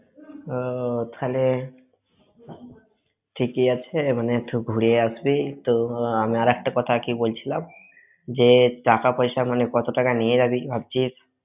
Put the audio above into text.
ও তাহলে, ঠিকই আছে মানে একটু ঘুরে আসবি, তো আমি একটা কথা কি বলছিলাম, যে টাকা পয়সা, মানে কত টাকা নিয়ে যাবি ভাবছিস?